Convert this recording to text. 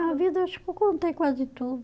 Na vida eu acho que eu contei quase tudo.